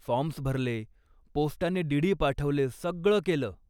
Forms भरले, पोस्टाने DD. पाठवले, सगळं केलं.